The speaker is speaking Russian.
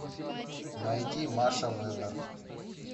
найди маша вебер